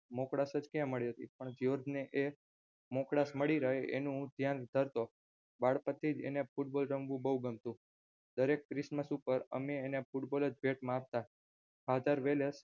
મોકળાશજ ક્યાં મળી હતી પણ જ્યોર્જ ને આ મોકળાશ મળી રહે એનું હું ધ્યાન કરતો નાનપણથીજ અને football રમવું ખુબ ગમતું દરેક ક્રીશમસ ઉપર અમે તેને football જ ભેટમાં આપતા father વેલેસ.